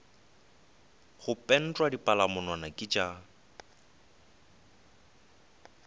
go pentwa dipalamonwana ke tša